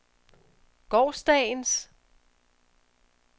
gårsdagens